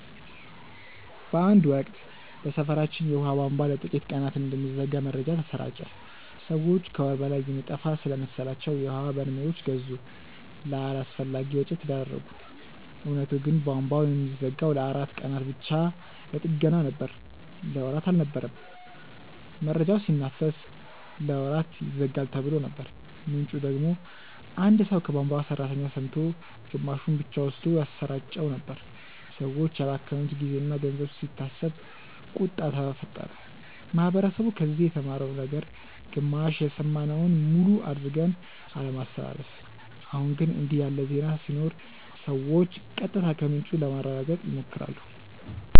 በአንድ ወቅት በሰፈራችን የውሃ ቧንቧ ለጥቂት ቀናት እንደሚዘጋ መረጃ ተሰራጨ። ሰዎች ከወር በላይ የሚጠፋ ስለመሰላቸው የውሀ በርሜሎች ገዙ፣ ለአላስፈላጊ ወጪ ተዳረጉ። እውነቱ ግን ቧንቧው የሚዘጋው ለአራት ቀናት ብቻ ለጥገና ነበር። ለወራት አልነበረም። መረጃው ሲናፈስ "ለወራት ይዘጋል"ተብሎ ነበር፣ ምንጩ ደግሞ አንድ ሰው ከቧንቧ ሠራተኛ ሰምቶ ግማሹን ብቻ ወስዶ ያሰራጨው ነበር። ሰዎች ያባከኑት ጊዜና ገንዘብ ሲታሰብ ቁጣ ተፈጠረ። ማህበረሰቡ ከዚህ የተማረው ነገር ግማሽ የሰማነውን ሙሉ አድርገን አለማስተላለፍ። አሁን ግን እንዲህ ያለ ዜና ሲኖር ሰዎች ቀጥታ ከምንጩ ለማረጋገጥ ይሞክራሉ